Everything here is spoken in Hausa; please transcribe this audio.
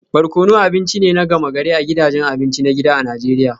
Barkono abinci ne na gama-gari a gidajen abinci na gida a Najeriya